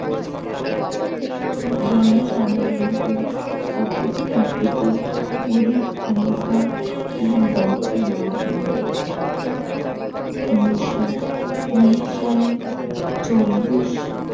জনসাধারণকে অপেক্ষাকৃত অনেক ক্ষমতা এবং দায়িত্ব দেওয়া হইল উন্নিশ উনিশ সালের চব্বিশ